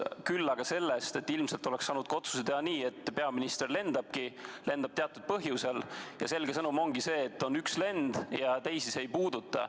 Küll aga tahan öelda seda, et ilmselt oleks saanud selle otsuse teha ka nii, et peaminister lendabki ja ta lendab teatud põhjusel ning antakse selge sõnum, et see on ainult üks lend ja teisi see ei puuduta.